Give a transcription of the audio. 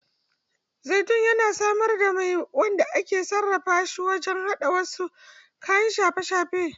Zaitun yana samar da mai wanda ake sarrafa shi wajen haɗa wasu kayan shafe-shafe.